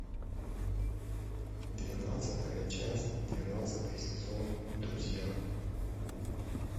двенадцатая часть двенадцатый сезон друзья